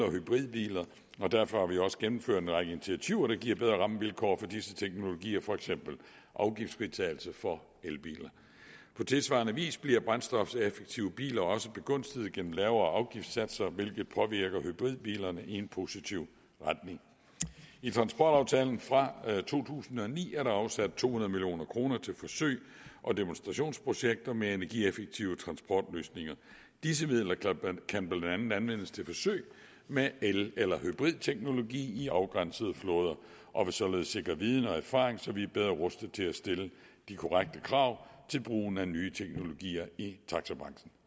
og hybridbiler og derfor har vi også gennemført en række initiativer der giver bedre rammevilkår for disse teknologier for eksempel afgiftsfritagelse for elbiler på tilsvarende vis bliver brændstofseffektive biler også begunstiget gennem lavere afgiftssatser hvilket påvirker hybridbilerne i en positiv retning i transportaftalen fra to tusind og ni er der afsat to hundrede million kroner til forsøg og demonstrationsprojekter med energieffektive transportløsninger disse midler kan blandt andet anvendes til forsøg med el eller hybridteknologi i afgrænsede flåder og vil således sikre viden og erfaring så vi er bedre rustet til at stille de korrekte krav til brugen af nye teknologier i taxabranchen